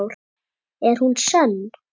En er hún sönn?